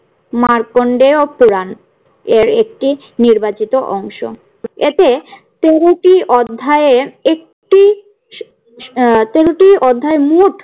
মার্কন্ডেয় পুরান এর একটি নির্বাচিত অংশ। এতে তেরো টি অধ্যায়ের একটি আহ তেরো টি অধ্যায়ে মোট